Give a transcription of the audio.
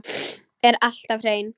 Er alltaf hrein.